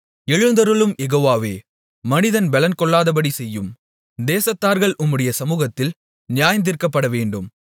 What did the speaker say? எழுந்தருளும் யெகோவாவே மனிதன் பெலன்கொள்ளாதபடி செய்யும் தேசத்தார்கள் உம்முடைய சமுகத்தில் நியாயந்தீர்க்கப்பட வேண்டும்